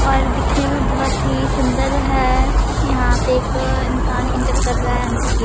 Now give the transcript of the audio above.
और दिखने में बहुत ही सुंदर है यहाँ पे एक इंसान इंटर कर रहा है अंदर की --